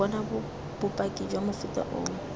bona bopaki jwa mofuta oo